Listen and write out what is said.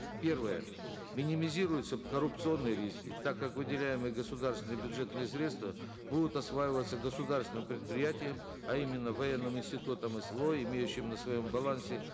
первое минимизируются коррупционные риски так как выделяемые государственные бюджетные средства будут осваиваться государственным предприятием а именно военным институтом сво имеющим на своем балансе